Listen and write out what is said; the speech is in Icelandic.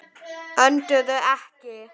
Önduðu ekki.